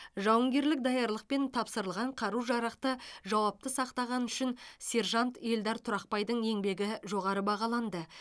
жауынгерлік даярлық пен тапсырылған қару жарақты жауапты сақтағаны үшін сержант ельдар тұрақбайдың еңбегі жоғары бағаланды